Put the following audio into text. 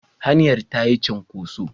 Hanyar ta yi cunkoso.